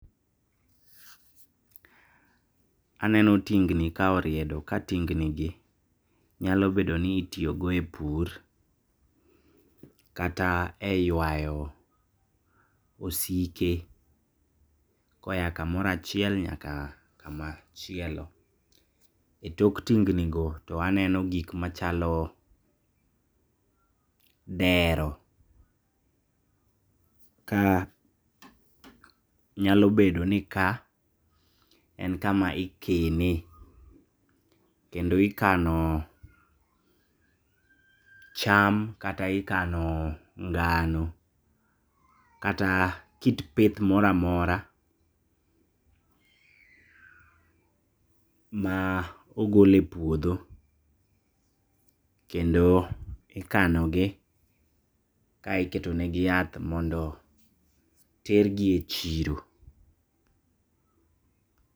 Aneno tingni kaoriedo, ka tingni gi nyalo bedoni itiyogo e pur, kata e ywayo osike koya kamora achiel nyaka kama chielo. E tok tingni go toaneno gikmachalo dero, ka nyalo bedoni ka en kama ikene, kendo ikano cham kata ikano ngano, kata kit pith mora mora maogole puodho, kendo ikanogi kae iketo negi yath mondo tergi e chiro.